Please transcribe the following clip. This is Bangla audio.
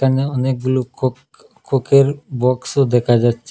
এখানে অনেকগুলো কোক কোকের বক্সও দেখা যাচ্চে ।